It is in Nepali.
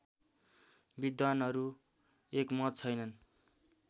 विद्वानहरू एकमत छैनन्